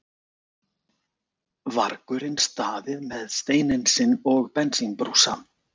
vargurinn staðið með steininn sinn og bensínbrúsa.